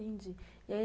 Entendi. E aí